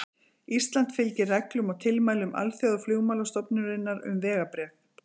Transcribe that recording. Ísland fylgir reglum og tilmælum Alþjóðaflugmálastofnunarinnar um vegabréf.